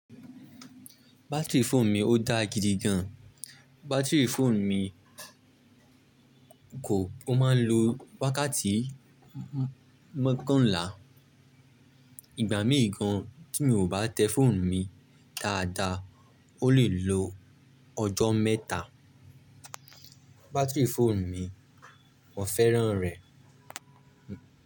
Battery fóònù mi ó dáa gidigan. Battery fóònù mi kò, ó máa ń lo wákàtí mọ́kànlá. Ìgbà mii gan tí mi ò bá tẹ fóònù mi dáadáa, ó lè lo ọjọ́ mẹ́ta. Batiri fóònù mi, mo fẹ́ràn rẹ̀.